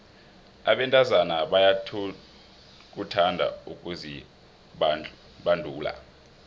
abentazana bayakuthanda ukuzibandula